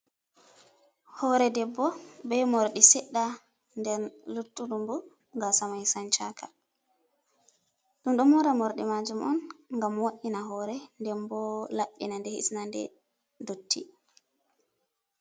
Hore debbo be morɗi sedɗa den luttudunbo ga samai san-chaka, ɗum do mora morɗi majum on gam woina hore denbo labenaɗe hisna ɗe dotti.